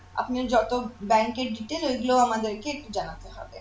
আপনি যত bank এ detail ঐগুলো আমাদেরকে জানাতে হবে